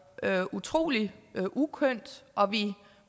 været utrolig uskønt og vi